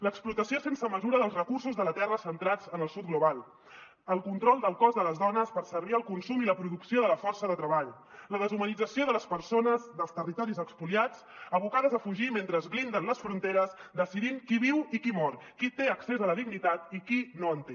l’explotació sense mesura dels recursos de la terra centrats en el sud global el control del cos de les dones per servir al consum i la producció de la força de treball la deshumanització de les persones dels territoris espoliats abocades a fugir mentre blinden les fronteres decidint qui viu i qui mor qui té accés a la dignitat i qui no en té